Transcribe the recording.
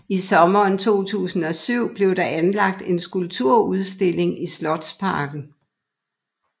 I sommeren 2007 blev der anlagt en skulpturudstilling i slotsparken